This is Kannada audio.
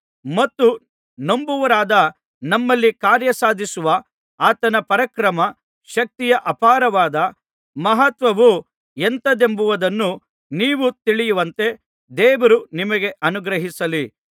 ಮತ್ತು ನಂಬುವವರಾದ ನಮ್ಮಲ್ಲಿ ಕಾರ್ಯ ಸಾಧಿಸುವ ಆತನ ಪರಾಕ್ರಮ ಶಕ್ತಿಯ ಅಪಾರವಾದ ಮಹತ್ವವು ಎಂಥದೆಂಬುದನ್ನೂ ನೀವು ತಿಳಿಯುವಂತೆ ದೇವರು ನಿಮಗೆ ಅನುಗ್ರಹಿಸಲಿ